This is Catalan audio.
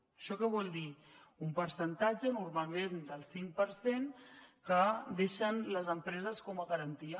això què vol dir un percentatge normalment del cinc per cent que deixen les empreses com a garantia